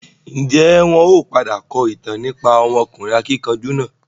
Ń jẹ́ wọn ó padà kọ ìtàn nípa ọmọkùnrin akíkanjú náà?